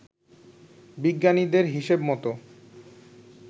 বিজ্ঞানীদের হিসেব মতো